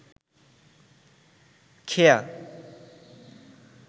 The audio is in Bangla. খেয়া